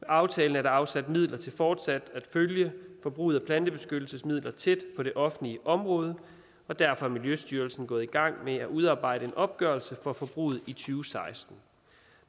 i aftalen er der afsat midler til fortsat at følge forbruget af plantebeskyttelsesmidler tæt på det offentlige område og derfor er miljøstyrelsen gået i gang med at udarbejde en opgørelse af forbruget i to tusind og seksten